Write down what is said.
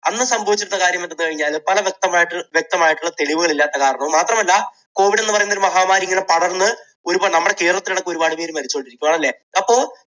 അന്ന് സംഭവിച്ചിട്ടുള്ള കാര്യം എന്തെന്നു പറഞ്ഞുകഴിഞ്ഞാൽ പല വ്യക്തമായിട്ട് വ്യക്തമായിട്ടുള്ള തെളിവുകൾ ഇല്ലാത്തതു കാരണവും മാത്രമല്ല, covid എന്നു പറയുന്ന ഒരു മഹാമാരി ഇങ്ങനെ പടർന്ന് ഒരുപാ~നമ്മുടെ കേരളത്തിലടക്കം ഒരുപാട് പേര് മരിച്ചു. ആണല്ലേ അപ്പോ